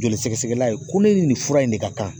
Joli sɛgɛsɛgɛla ye ko ne ye nin fura in de ka kan.